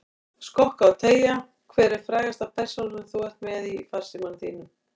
Skokka og teygja Hver er frægasta persónan sem þú ert með í farsímanum þínum?